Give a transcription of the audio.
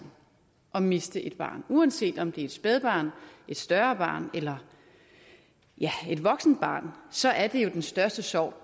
at miste et barn uanset om det er et spædbarn et større barn eller ja et voksent barn så er det jo den største sorg